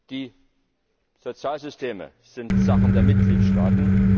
Die Sozialsysteme sind Sache der Mitgliedstaaten.